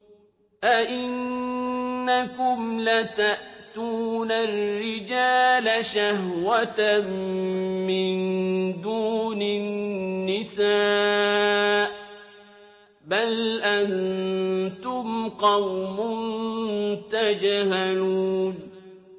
أَئِنَّكُمْ لَتَأْتُونَ الرِّجَالَ شَهْوَةً مِّن دُونِ النِّسَاءِ ۚ بَلْ أَنتُمْ قَوْمٌ تَجْهَلُونَ